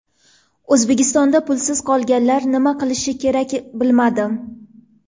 O‘zbekistonda pulsiz qolganlar nima qilishi kerak bilmadim.